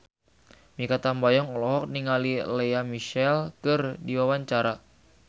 Mikha Tambayong olohok ningali Lea Michele keur diwawancara